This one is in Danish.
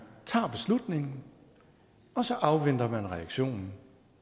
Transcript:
tager beslutningen og så afventer man reaktionen